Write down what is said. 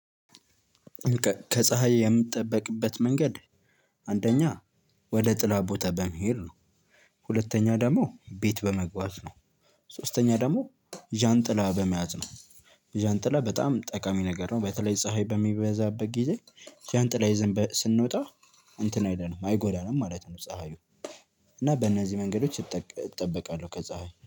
ከፀሀይ የምጠበቅበት መንገድ አንደኛ ወደ ጥላ ቦታ በመሄድ ነው። ሁለተኛ ደግሞ ቤት በመግባት ነው። ሶስተኛ ደግሞ ዣንጥላ በመያዝ ነው። ዣንጥላ በጣም ጠቃሚ ነገር ነው። በተለይ ፀሀይ በሚበዛበት ጊዜ ዣንጥላ ይዘን ስንወጣ እንትን አለንም አይጎዳንም ማለት ነው። ፀሀዩ እና በእነዚህ መንገዶች እጠበቃለሁ ከፀሀይ